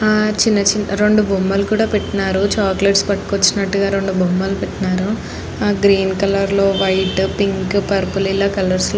ఆహ్ చిన్న చిన్న రెండు బొమ్మలు పెట్టారు చాకోలెట్స్ పట్టుకొచ్చినట్టు గ రెండు బొమ్మలు పెట్టారు గ్రీన్ కలర్ లో వైట్ పింక్ పర్పల్ --